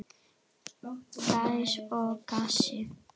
Gæs og gassi.